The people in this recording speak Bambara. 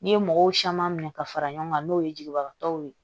N'i ye mɔgɔw caman minɛ ka fara ɲɔgɔn kan n'o ye jigibagatɔw ye